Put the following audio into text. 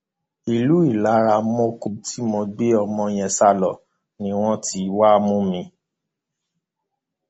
ìlú ìlaramọkọ tí mo gbé ọmọ yẹn sá lọ ni wọn ti wáá mú mi